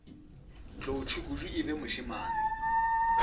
tlou tšhukudu e be mošemane